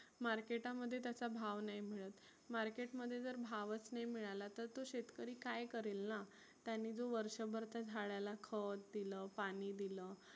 market मध्ये त्याच्या भाव नाही मिळत. market मध्ये जर भावच नाही मिळाला तर तो शेतकरी काय करेल ना. त्यानी जो वर्षभर त्या झाडाला खत दिलं पाणी दिलं